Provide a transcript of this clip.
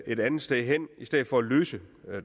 et andet sted hen i stedet for at løse